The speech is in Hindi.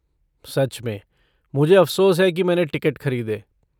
सच में, मुझे अफ़सोस है कि मैंने टिकट ख़रीदे।